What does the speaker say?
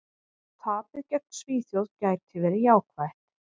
Tapið gegn Svíþjóð gæti verið jákvætt.